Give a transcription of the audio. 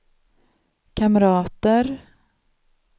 kamrater